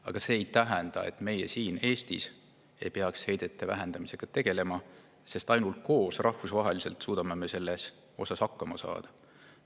Aga see ei tähenda, et meie siin Eestis ei peaks heidete vähendamisega tegelema, sest ainult koos, rahvusvaheliselt suudame me sellega hakkama saada.